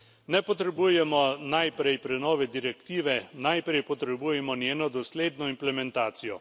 Ne potrebujemo najprej prenove direktive, najprej potrebujemo njeno dosledno implementacijo.